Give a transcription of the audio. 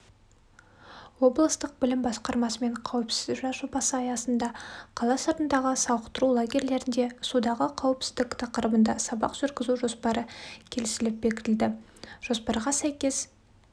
облыстық білім басқармасымен қауіпсіз жаз жобасы аясында қала сыртындағы сауықтыру лагерлерінде судағы қауіпсіздік тақырыбында сабақ жүргізу жоспары келісіліп бекітілді жоспарға сәйкес